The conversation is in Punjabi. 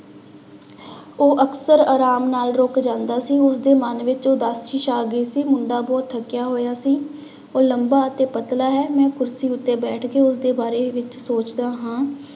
ਉਹ ਅਕਸਰ ਆਰਾਮ ਨਾਲ ਰੁੱਕ ਜਾਂਦਾ ਸੀ, ਉਸਦੇ ਮਨ ਵਿੱਚ ਉਦਾਸੀ ਛਾ ਗਈ ਸੀ, ਮੁੰਡਾ ਬਹੁਤ ਥੱਕਿਆ ਹੋਇਆ ਸੀ, ਉਹ ਲੰਬਾ ਅਤੇ ਪਤਲਾ, ਮੈਂ ਕੁਰਸੀ ਉੱਤੇ ਬੈਠ ਕੇ ਉਸਦੇ ਬਾਰੇ ਵਿੱਚ ਸੋਚਦਾ ਹਾਂ।